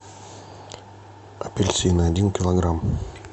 апельсины один килограмм